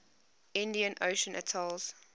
indian ocean atolls